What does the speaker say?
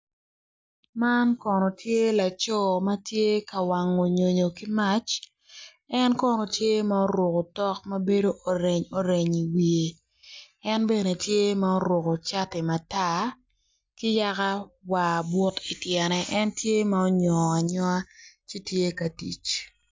Man kono tye laco ma tye ka wango nyonyo ki mac en kono tye ma oruko otok ma bedo orenge orenge i wiye en bene tye ma oruko cati matar kiyaka war but i tyene en tye ma onyongo anyoga ci tye ka tic.